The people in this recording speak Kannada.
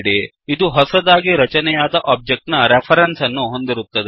ಇದು ಕೇವಲ ಹೊಸದಾಗಿ ರಚನೆಯಾದ ಒಬ್ಜೆಕ್ಟ್ ನ ರೆಫರೆನ್ಸ್ ಅನ್ನು ಹೊಂದಿರುತ್ತದೆ